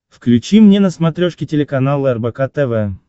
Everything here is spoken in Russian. включи мне на смотрешке телеканал рбк тв